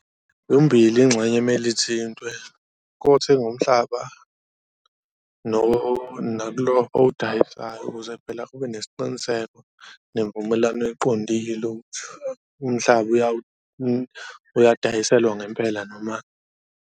Yombili ingxenye kumele ithintwe kothenga umhlaba nakulo owudayisayo ukuze phela kube nesiqiniseko nemvumelwano eqondile umhlaba uyadayiselwa ngempela noma.